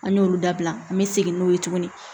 An y'olu dabila an be segin n'o ye tuguni